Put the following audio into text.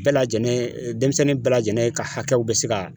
Bɛɛ lajɛlen denmisɛnnin bɛɛ lajɛlen ka hakɛw bɛ se ka